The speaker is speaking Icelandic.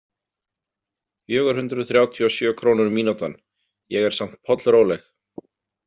Fjögur hundruð þrjátíu og sjö krónur mínútan, ég er samt pollróleg.